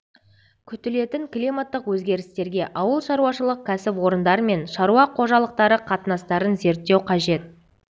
күтілетін климаттық өзгерістерге ауыл шаруашылық кәсіпорындар мен шаруа қожалықтары қатынастарын зерттеу қажет